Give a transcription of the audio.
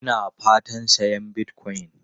Ina fatan sayan Bitcoin.